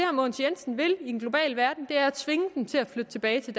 mogens jensen vil i en global verden er at tvinge dem til at flytte tilbage til